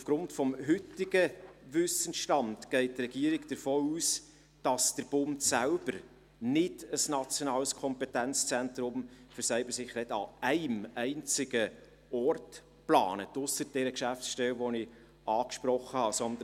Aufgrund des heutigen Wissensstands geht die Regierung davon aus, dass der Bund selbst kein nationales Kompetenzzentrum für Cybersicherheit an einem einzigen Ort plant – ausser der Geschäftsstelle, die ich angesprochen habe.